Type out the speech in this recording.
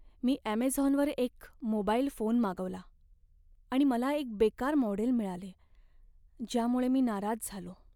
मी ॲमेझॉनवर एक mobile phone मागवला आणि मला एक बेकार मॉडेल मिळाले, ज्यामुळे मी नाराज झालो.